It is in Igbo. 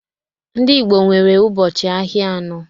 Ndị Igbo nwere ụbọchị ahịa anọ